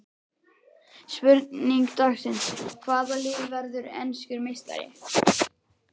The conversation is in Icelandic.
Spurning dagsins: Hvaða lið verður enskur meistari?